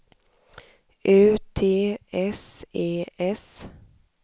U T S E S